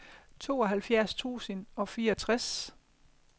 tooghalvfjerds tusind og fireogtres